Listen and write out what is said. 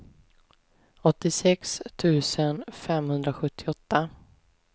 åttiosex tusen femhundrasjuttioåtta